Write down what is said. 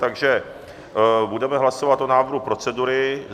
Takže budeme hlasovat o návrhu procedury.